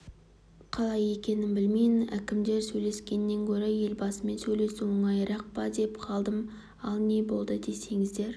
қалай екенін білмеймін әкімдермен сөйлескеннен гөрі елбасымен сөйлесу оңайырақ па деп қалдым ал не болды десеңіздер